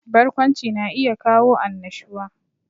Barkwanci na iya kawo annashuwa